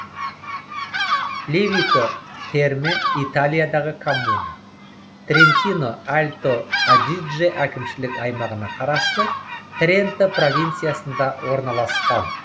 левико терме италиядағы коммуна трентино альто адидже әкімшілік аймағына қарасты тренто провинциясында орналасқан